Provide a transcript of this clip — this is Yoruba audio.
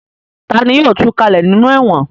Ta ni yóò tu kalẹ̀ nínú ẹ̀wọ̀n?